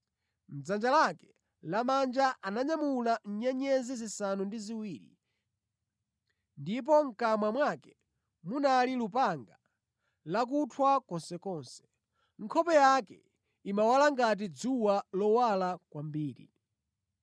Mʼdzanja lake lamanja ananyamula nyenyezi zisanu ndi ziwiri, ndipo mʼkamwa mwake munali lupanga lakuthwa konsekonse. Nkhope yake imawala ngati dzuwa lowala kwambiri.